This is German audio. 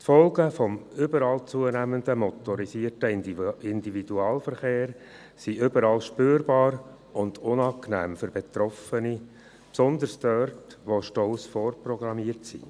Die Folgen des überall zunehmenden motorisierten Individualverkehrs sind überall spürbar und unangenehm für die Betroffenen, besonders dort, wo Staus vorprogrammiert sind.